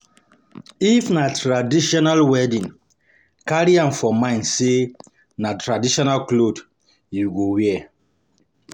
If na traditional wedding, carry am for mind sey na traditional cloth you go wear